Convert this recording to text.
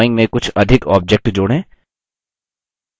add अपनी drawing में कुछ अधिक objects जोड़ें